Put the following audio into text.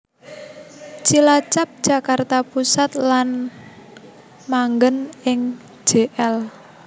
Cilacap Jakarta Pusat lan manggen ing Jl